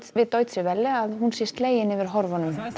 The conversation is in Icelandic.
við Deutsche Welle að hún sé slegin yfir horfunum það